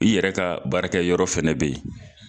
I yɛrɛ ka baarakɛ yɔrɔ fɛnɛ be yen